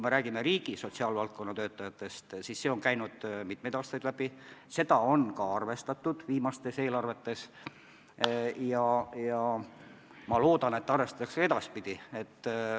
Sotsiaalvaldkonna töötajate teema on mitmeid aastaid läbi käinud ja seda on viimastes eelarvetes ka arvestatud ja ma loodan, et arvestatakse ka edaspidi.